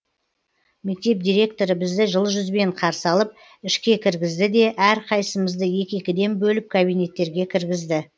мектеп директоры бізді жылы жүзбен қарсы алып ішке кіргізді де әрқайсысымызды екі екіден бөліп кабинеттерге кіргізді